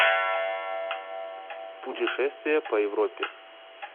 путешествие по европе